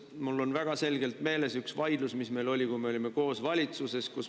Mul on väga selgelt meeles üks vaidlus, mis meil oli, kui me olime koos valitsuses.